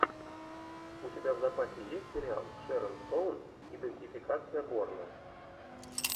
у тебя в запасе есть сериал шерон стоун идентификация борна